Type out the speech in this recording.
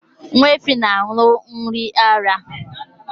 Nwa efi na-an̄ụ nri ara ara